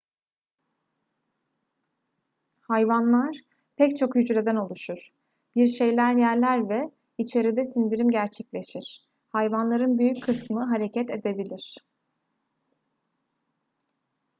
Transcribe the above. hayvanlar pek çok hücreden oluşur bir şeyler yerler ve içeride sindirim gerçekleşir hayvanların büyük kısmı hareket edebilir